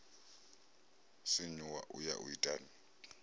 sinyuwa u ya u itani